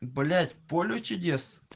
блять поле чудес